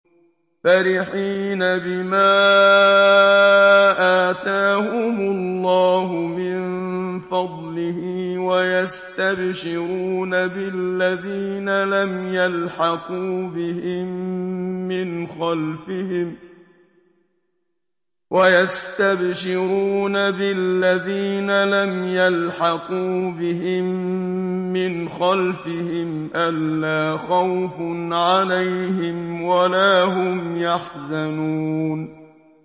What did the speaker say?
فَرِحِينَ بِمَا آتَاهُمُ اللَّهُ مِن فَضْلِهِ وَيَسْتَبْشِرُونَ بِالَّذِينَ لَمْ يَلْحَقُوا بِهِم مِّنْ خَلْفِهِمْ أَلَّا خَوْفٌ عَلَيْهِمْ وَلَا هُمْ يَحْزَنُونَ